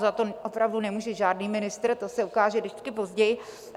Za to opravdu nemůže žádný ministr - to se ukáže vždycky později.